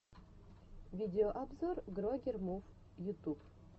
видеообзор грогер мув ютюб